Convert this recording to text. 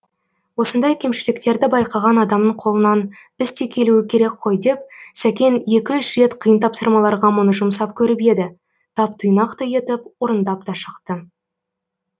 осындай кемшіліктерді байқаған адамның қолынан іс те келуі керек қой деп сәкен екі үш рет қиын тапсырмаларға мұны жұмсап көріп еді тап тұйнақтай етіп орындап та шықты